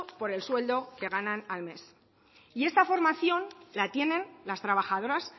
por el sueldo que ganan al mes y esta formación la tienen las trabajadoras